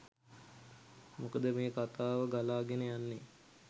මොකද මේ කතාව ගලාගෙන යන්නේ